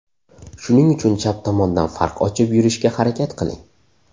Shuning uchun chap tomondan farq ochib yurishga harakat qiling.